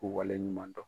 K'u waleɲuman dɔn